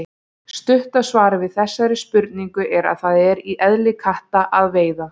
Stutta svarið við þessari spurningu er að það er í eðli katta að veiða.